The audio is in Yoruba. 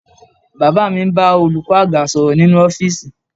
Bàbá mi ń bá olùkọ́ àgbà sọ̀rọ̀ nínú ọ́fíìsì